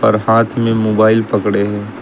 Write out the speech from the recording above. और हाथ में मोबाइल पकड़े है।